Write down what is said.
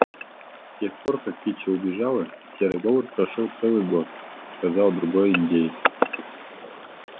с тех пор как кичи убежала серый бобр прошёл целый год сказал другой индеец